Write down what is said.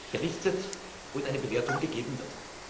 berichtet und eine Bewertung abgegeben wird.